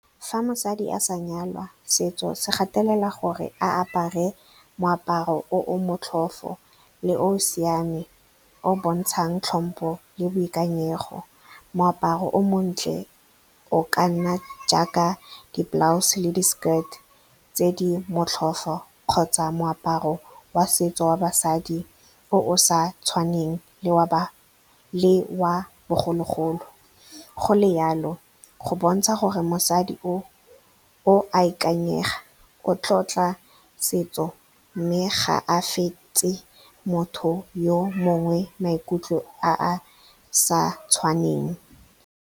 Fa mosadi a sa nyalwa, setso se gatelela gore a apare moaparo o motlhofo le o siame, o o bontshang tlhompho le boikanyego. Moaparo o montle o ka nna jaaka di-blouse le di-skirt tse di motlhofo kgotsa moaparo wa setso wa basadi o sa tshwaneng le wa bogologolo. Go le jalo, go bontsha gore mosadi o oa ikanyega, o tlotla setso, mme ga a fete maikutlo a maikutlo a a sa tshwaneng.